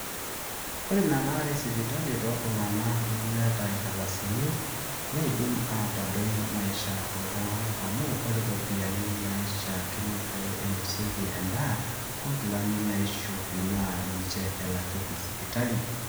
ore ina laare esipitali tooltung'anak lemeeta inkardasini neidim aitadoi maisha ooltung'anak amu ore ropiyiani naaishaakino pee einosieki endaa onkilani naaishopi naa ninje elakieki sipitali